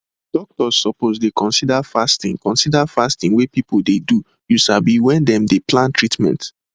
doctors suppose dey consider fasting consider fasting wey people dey do you sabi when dem dey plan treatment